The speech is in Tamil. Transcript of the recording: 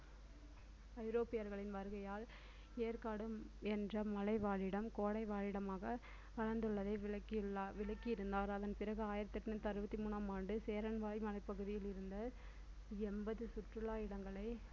ஐரோப்பியர்களின் வருகையால் ஏற்காடு என்ற மலை வாழிடம் கோடை வாழிடமாக வளர்ந்துள்ளதை விளக்கியுள்ளார் விளக்கியிருந்தார் அதன்பிறகு ஆயிரத்து எண்ணூறு அறுபத்தி மூணாம் ஆண்டு சேரன்வாய் மலைப் பகுதியில் இருந்த எண்பது சுற்றுலா இடங்களை